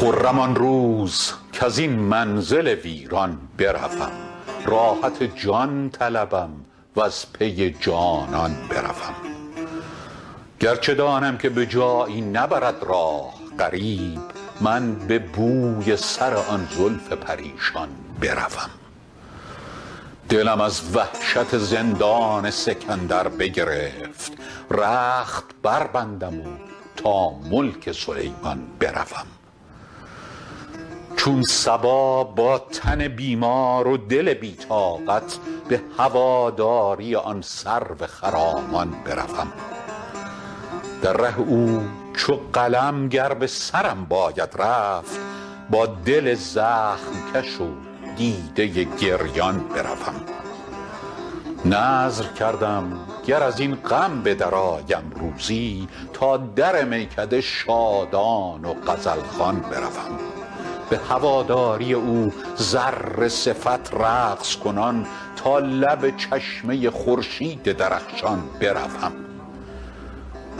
خرم آن روز کز این منزل ویران بروم راحت جان طلبم و از پی جانان بروم گر چه دانم که به جایی نبرد راه غریب من به بوی سر آن زلف پریشان بروم دلم از وحشت زندان سکندر بگرفت رخت بربندم و تا ملک سلیمان بروم چون صبا با تن بیمار و دل بی طاقت به هواداری آن سرو خرامان بروم در ره او چو قلم گر به سرم باید رفت با دل زخم کش و دیده گریان بروم نذر کردم گر از این غم به درآیم روزی تا در میکده شادان و غزل خوان بروم به هواداری او ذره صفت رقص کنان تا لب چشمه خورشید درخشان بروم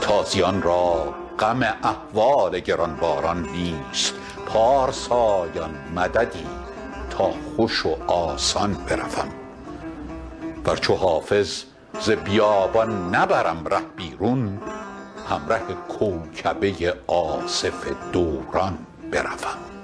تازیان را غم احوال گران باران نیست پارسایان مددی تا خوش و آسان بروم ور چو حافظ ز بیابان نبرم ره بیرون همره کوکبه آصف دوران بروم